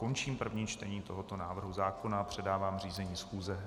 Končím první čtení tohoto návrhu zákona a předávám řízení schůze.